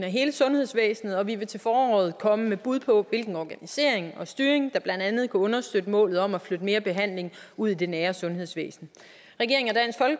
af hele sundhedsvæsenet og vi vil til foråret komme med bud på hvilken organisering og styring der blandt andet kan understøtte målet om at flytte mere behandling ud i det nære sundhedsvæsen regeringen